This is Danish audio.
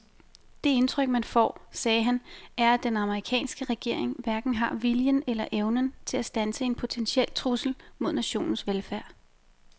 Det indtryk man får, sagde han, er at den amerikanske regering hverken har viljen eller evnen til at standse en potentiel trussel mod nationens velfærd.